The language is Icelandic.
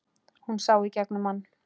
Hún sá í gegnum hann.